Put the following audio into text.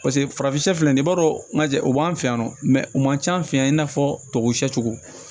Paseke farafin sɛ filɛ nin b'a dɔn manje o b'an fɛ yan nɔ mɛ u man ca an fɛ yan i n'a fɔ tubabu sɛcogo